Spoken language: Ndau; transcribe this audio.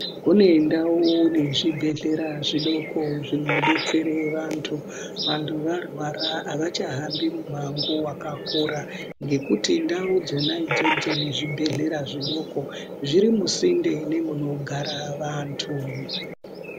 Kune ndau nezvibhedhlera zvidoko zvinobetsere vantu. Vantu varwara havachahambi mumango vakakura. Ngekuti ndau dzona idzodzo nezvibhedhlera zvidoko zviri musinde nemunogara vantu.